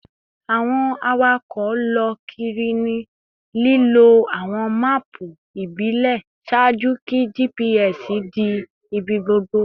Awọn awakọ lọ kiri ni lilo awọn maapu ibile ṣaaju ki GPS di ibigbogbo